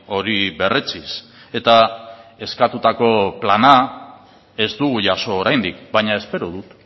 hori berretsiz eta eskatutako plana ez dugu jaso oraindik baina espero dut